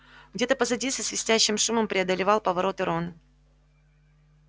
где-то позади со свистящим шумом преодолевал повороты рон